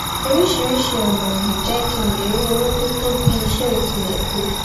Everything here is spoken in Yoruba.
orisirisi ona n jé kí n lè rí owó tó to bi ise o tile to